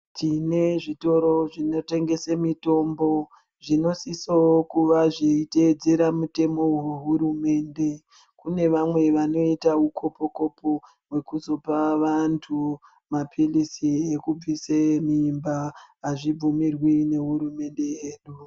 Tine zvitoro zvinotengesa mitombo zvinosisa kuwa zveitedzera mitemo wehurumende kune vamwe vanoita hukopo kopo wekuzopa vantu mapirizi ekubvisa mimba hazvibvumirwi nehurumende.